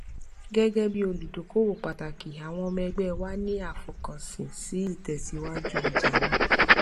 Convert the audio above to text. gẹgẹ bí olùdókówó pàtàkì àwọn ọmọ ẹgbẹ wa ní àfọkànsìn sí ìtẹsíwájú ọjà náà